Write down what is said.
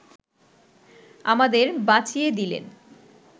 আমাদের বাঁচিয়ে দিলেন